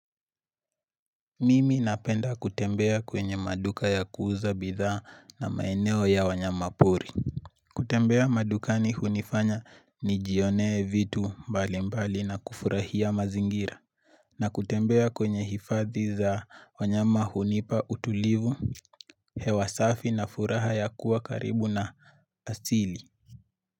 Mimi napenda kutembea kwenye maduka ya kuuza bidha na maeneo ya wanyama pori kutembea madukani hunifanya nijionee vitu mbali mbali na kufurahia mazingira na kutembea kwenye hifadhi za wanyama hunipa utulivu hewa safi na furaha ya kuwa karibu na asili.